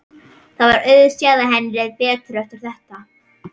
Það var auðséð að henni leið betur eftir þetta.